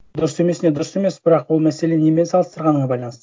дұрыс емесіне дұрыс емес бірақ ол мәселе немен салыстырғаныңа байланысты